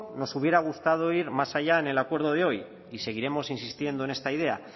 nos hubiera gustado ir más allá en el acuerdo de hoy y seguiremos insistiendo en esta idea